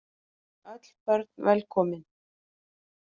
Öll börn velkomin.